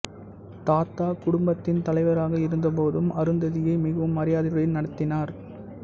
தாத்தா குடும்பத்தின் தலைவராக இருந்தபோதும் அருந்ததியை மிகவும் மரியாதையுடன் நடத்தினார்